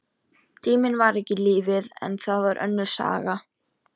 Tíminn var ekki lífið, og það var önnur saga.